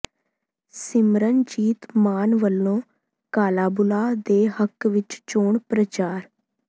ਸਿਮਰਨਜੀਤ ਮਾਨ ਵੱਲੋਂ ਕਾਲਾਬੂਲਾ ਦੇ ਹੱਕ ਵਿੱਚ ਚੋਣ ਪ੍ਰਚਾਰ